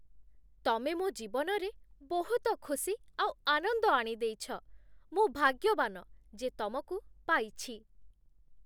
ତମେ ମୋ ଜୀବନରେ ବହୁତ ଖୁସି ଆଉ ଆନନ୍ଦ ଆଣିଦେଇଛ । ମୁଁ ଭାଗ୍ୟବାନ ଯେ ତମକୁ ପାଇଛି ।